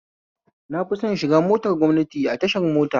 Na fi son shiga motar gwamnati a tashar mota